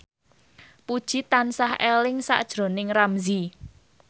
Puji tansah eling sakjroning Ramzy